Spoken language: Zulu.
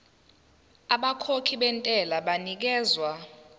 abakhokhi bentela banikezwa